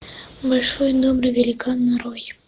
большой добрый великан нарой